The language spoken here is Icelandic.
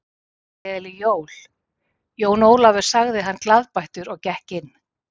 Gleðileg jól, Jón Ólafur sagði hann glaðbeittur og gekk inn.